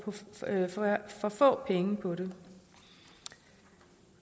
for få penge på det